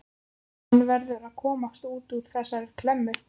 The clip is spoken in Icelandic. Hann verður að komast út úr þessari klemmu.